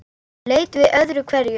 Leit við öðru hverju.